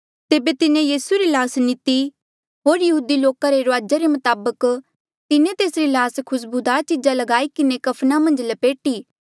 तेबे तिन्हें यीसू री ल्हास नीती होर यहूदी लोका रे रुआजा रे मताबक तिन्हें तेसरी ल्हास खुस्बूदार चीजा ल्गाई किन्हें कफना मन्झ लपेटी